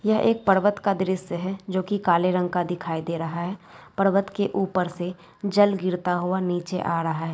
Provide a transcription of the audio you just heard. यह एक पर्वत का दृश्य है जो कि काले रंग का दिखाई दे रहा है पर्वत के ऊपर से जल गिरता हुआ नीचे आ रहा है।